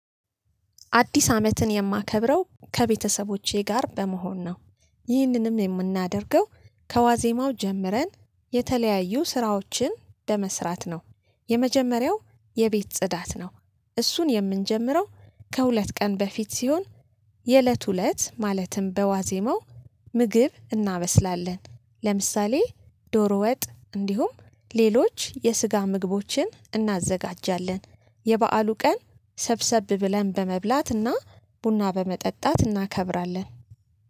አዲስ አመትን የማከብረው ከቤተሰቦቼ ጋር በመሆን ነው። ይህንንም የምናደርገው ከዋዜማው ጀምረን የተለያዩ ስራዎችን በመስራት ነው። የመጀመሪያው የቤት ጽዳት ነው። እሱን የምንጀምረው ከሁለት ቀን በፊት ሲሆን፤ የእለቱ እለት ማለትም በዋዜመው ምግብ እናበስላለን። ለምሳሌ ዶሮ ወጥ እንዲሁም ሌሎች የስጋ ምግቦችን እናዘጋጃለን። የበአሉ ቀን ሰብሰብ ብለን በመብላትና ቡና በመጠጣት እናከብራለን።